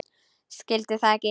Skildi það ekki.